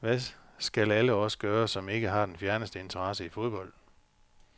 Hvad skal alle os gøre, som ikke har den fjerneste interesse i fodbold?